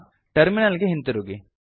terminal ಗೆ ಹಿಂತಿರುಗಿ